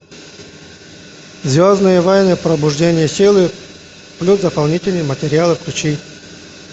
звездные войны пробуждение силы плюс дополнительные материалы включи